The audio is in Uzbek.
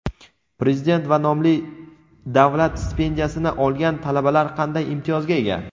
Prezident va nomli davlat stipendiyasini olgan talabalar qanday imtiyozga ega?.